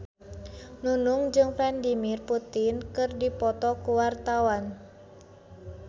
Nunung jeung Vladimir Putin keur dipoto ku wartawan